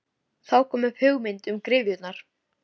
Þá kom upp hugmyndin um gryfjurnar.